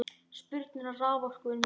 Spurn eftir raforku er mikil.